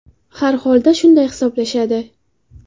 Har holda shunday hisoblashadi.